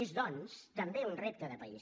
és doncs també un repte de país